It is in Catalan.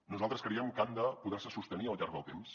nosaltres creiem que han de poder se sostenir al llarg del temps